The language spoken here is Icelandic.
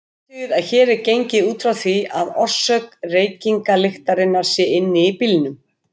Athugið að hér er gengið út frá því að orsök reykingalyktarinnar sé inni í bílnum.